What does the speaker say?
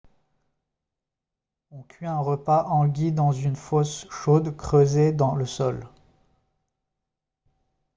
on cuit un repas hangi dans une fosse chaude creusée dans le sol